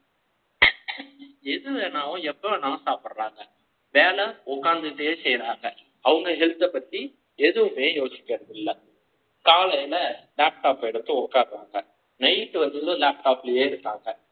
எது வேணாலும் எப்ப வேணாலும் சாப்பிடுறாங்க வேலை உட்கார்ந்துட்டே செய்றாங்க அவங்க Health பத்தி எதுவுமே யோசிக்கிறது இல்லை காலையில laptop எடுத்து உக்காறாங்க night வந்ததும் laptop இருக்காங்க